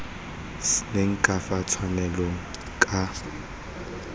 seng ka fa tshwanelong ka